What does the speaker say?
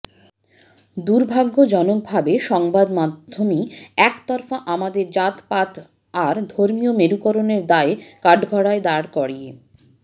দুর্ভাগ্যজনক ভাবে সংবাদমাধ্যমই একতরফা আমাদের জাতপাত আর ধর্মীয় মেরুকরণের দায়ে কাঠগড়ায় দাঁড় করিয়ে